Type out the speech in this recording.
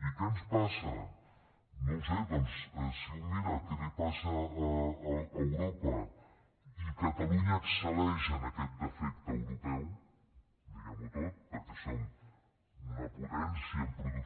i què ens passa no ho sé doncs si un mira què li passa a europa i catalunya excel·leix en aquest defecte europeu diguem ho tot perquè